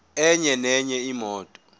enye nenye imoto